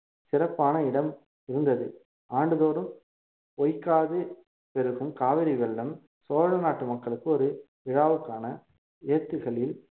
சிறப்பான இடம் இருந்தது ஆண்டுதோறும் பொய்க்காது பெருகும் காவிரி வெள்ளம் சோழநாட்டு மக்களுக்கு ஒரு விழாவுக்கான ஏத்துகளில்